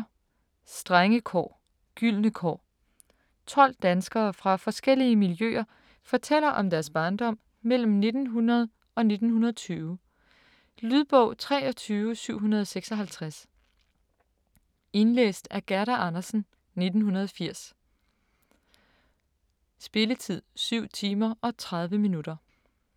Strenge kår - gyldne år 12 danskere fra forskellige miljøer fortæller om deres barndom mellem 1900 og 1920. Lydbog 23756 Indlæst af Gerda Andersen, 1980. Spilletid: 7 timer, 30 minutter.